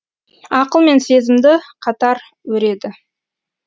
ақыл мен сезімді қатар өреді